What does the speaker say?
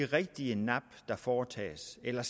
de rigtige nap der foretages eller